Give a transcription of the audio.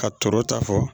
Ka tɔɔrɔ ta fɔ